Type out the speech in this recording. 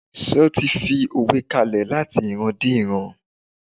s ti fi òwe kalẹ lati ìran di ìran